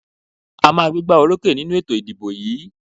A màá gbégbá orókè nínú ètò ìdìbò yìí.